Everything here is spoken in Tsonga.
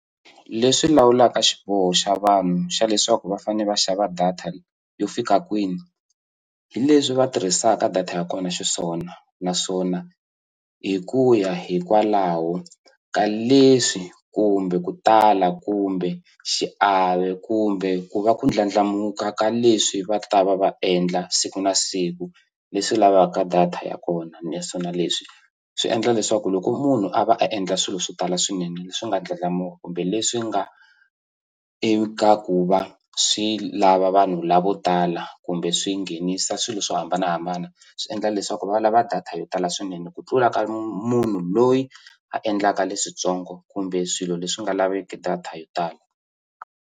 Leswi lawulaka xiboho xa vanhu xa leswaku va fanele va xava data yo fika kwini hi leswi va tirhisaka data ya kona xiswona naswona hi ku ya hikwalaho ka leswi kumbe ku tala kumbe xiave kumbe ku va ku ndlandlamuka ka leswi va ta va va endla siku na siku leswi lavaka data ya kona naswona leswi swi endla leswaku loko munhu a va a endla swilo swo tala swinene leswi nga ndlandlamuka kumbe leswi nga i ka ku va swi lava vanhu lavo tala kumbe swi nghenisa swilo swo hambanahambana swi endla leswaku va lava data yo tala swinene ku tlula ka munhu loyi a endlaka leswitsongo kumbe swilo leswi nga laveki data yo tala.